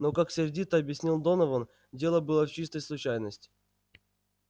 но как сердито объяснял донован дело было в чистой случайности